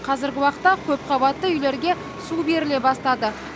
қазіргі уақытта көпқабатты үйлерге су беріле бастады